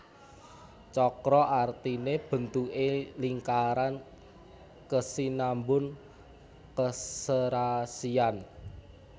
Cakra artine bentuke lingkaran kesinambun keserasian